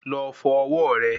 Lọ fọ ọwọ́ rẹ